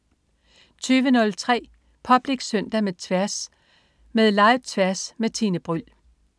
20.03 Public Søndag med Tværs. Med Live-Tværs med Tine Bryld